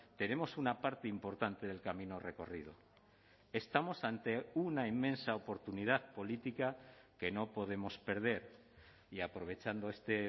tenemos una parte importante del camino recorrido estamos ante una inmensa oportunidad política que no podemos perder y aprovechando este